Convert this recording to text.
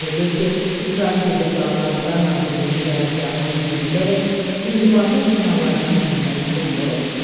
Bildirilir ki, İsrail gecə saatlarında Nazirliyin qərargahına hücum edərək inzibati binalardan birinə ziyan vurub.